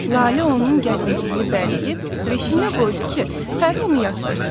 Lalə onun gəlinciyini bələyib beşiyinə qoydu ki, Pəri onu yatdırsın.